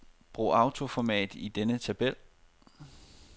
Brug autoformat i denne tabel.